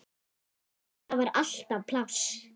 Þar var alltaf pláss.